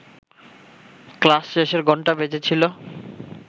class শেষের ঘণ্টা বেজেছিল